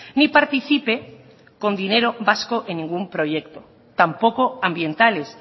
ni participe con dinero vasco en ningún proyecto tampoco ambientales